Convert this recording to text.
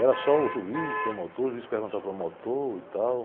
Era só o juiz, promotor, o juiz perguntava para o promotor e tal.